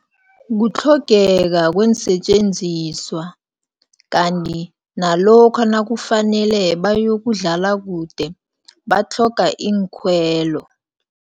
Kutlhogeka kweensetjenziswa, kanti nalokha nakufanele bayokudlala kude, batlhoga iinkhwelo.